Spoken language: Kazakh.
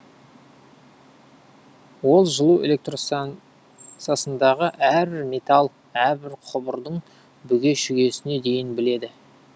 ол жылу электрстанса сындағы әрбір металл әрбір құбырдың бүге шүгесіне дейін біледі